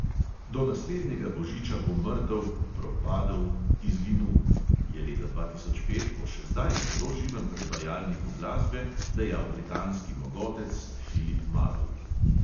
"Do naslednjega božiča bo mrtev, propadel, izginul," je leta dva tisoč pet o še zdaj zelo živem predvajalniku glasbe dejal britanski mogotec filip marolt.